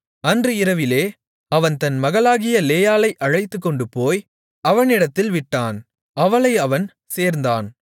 அன்று இரவிலே அவன் தன் மகளாகிய லேயாளை அழைத்துக்கொண்டுபோய் அவனிடத்தில் விட்டான் அவளை அவன் சேர்ந்தான்